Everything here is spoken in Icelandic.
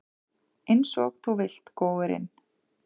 Einsog þú vilt, góurinn.